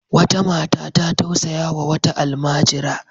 Wata mata ta tausayawa wata almajira.